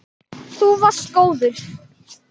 Þú varst góður.